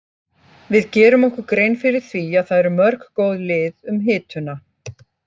Við gerum okkur grein fyrir því að það eru mörg góð lið um hituna.